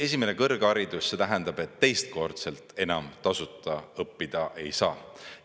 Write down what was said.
Esimene kõrgharidus, see tähendab, et teistkordselt enam tasuta õppida ei saa.